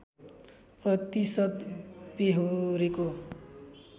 प्रतिशत बेहोरेको